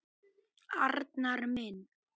Arnar minn!